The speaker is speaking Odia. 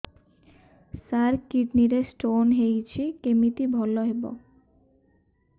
ସାର କିଡ଼ନୀ ରେ ସ୍ଟୋନ୍ ହେଇଛି କମିତି ଭଲ ହେବ